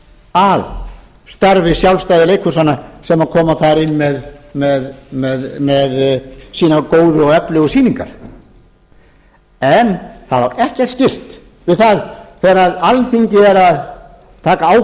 að starfi sjálfstæðu leikhúsanna sem koma þar inn með sínar góðu og öflugu sýningar en það á ekkert skylt við það þegar alþingi er að taka